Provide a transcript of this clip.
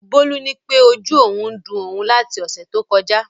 Bólú nípé ojú òun ń dun òun láti ọ̀sẹ̀ tó kọjá